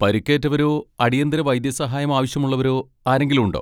പരിക്കേറ്റവരോ അടിയന്തിര വൈദ്യസഹായം ആവശ്യമുള്ളവരോ ആരെങ്കിലും ഉണ്ടോ?